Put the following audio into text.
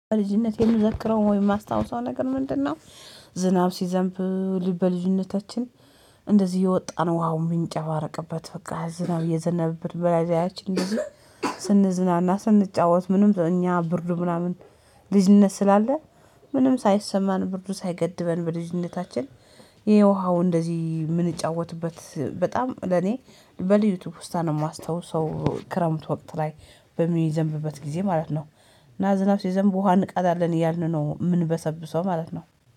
በልጅነት የምዘክረው ወይ የማስታውሰው ነገር ምንድነው? ዝናብ ሲዘንብ በልጅነታችን እንደዚህ የወጣነው ውሃው የምንጨባርቅበት በቃ ዝናብ የዘነበብን በላይ ያቺን ስንዝናና ስንጫወት ምንም እኛ ብርዱ ምናምን ልጅነት ስላለ ምንም ሳይሰማን ብርዱ ሳይገድበን በልጅነታችን ይሄ ውሃው እንደዚህ የምንጫወትበት በጣም ለኔ በልዩ ትውስታ ነው የማስተውሰው። ክረምት ወቅት ላይ በሚዘንብበት ጊዜ ማለት ነው እና ዝናብ ሲዘንብ ውሃ እንቅዳለን እያልን ነው የምንበሰብሰው ማለት ነው